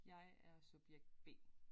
Jeg er subjekt B